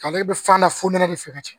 Ale bɛ fanda funtɛni de fɛ ka caya